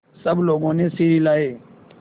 सब लोगों ने सिर हिलाए